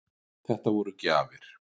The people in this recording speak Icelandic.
Þetta voru gjafir.